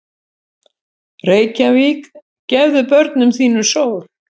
Reykjavík, gefðu börnum þínum sól!